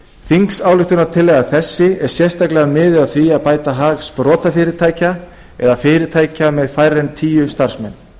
þingsályktunartillaga þessi er sérstaklega miðuð að því að bæta hag sprotafyrirtækja eða fyrirtækja með færri en tíu starfsmenn